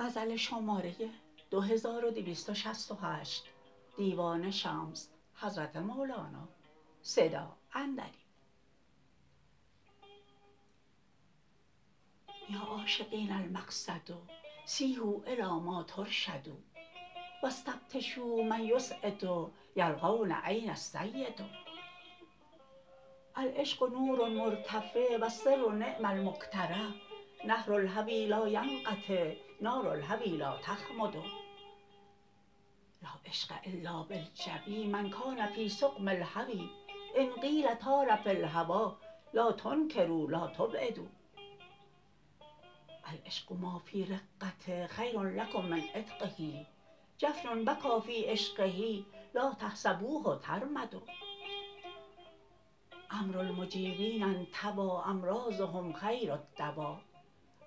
یا عاشقین المقصد سیحوا الی ما ترشدوا و استفتشوا من یسعد یلقون این السید العشق نور مرتفع و السر نعم المکترع نهر الهوی لا ینقطع نار الهوی لا تخمد لا عشق الا بالجوی من کان فی سقم الهوی ان قیل طار فی الهوا لا تنکرو لا تعبدوا العشق ما فی رقه خیر لکم من عتقه جفن بکا فی عشقه لا تحسبوه ترمد امر المحبین انطوی امراضهم خیر الدوا ما لم یضلوا فی الهوی لا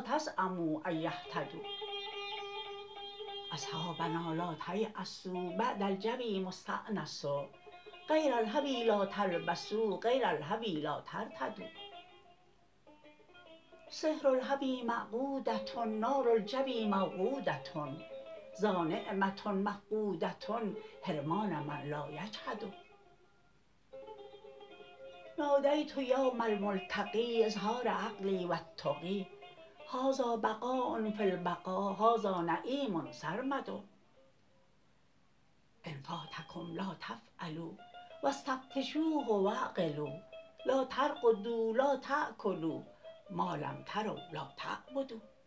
تزعمو ان یهتدوا اصحابنا لا تیأسوا بعد الجوی مستانس غیر الهوی لا تلبسو غیر الهوی لا ترتدوا سحر الهوی مقعوده نار الجوی موقوده ذانعمه مفقوده حرمان من لا یجهد نادیت یوم الملتقی اذ حار عقلی و التقی هذا بقاء فی البقا هذا نعیم سرمد ان فاتکم لا تفعلوا و استفتشوه و اعقلوا لا ترقدوا لا تأکلوا ما لم تروا لا تعبدوا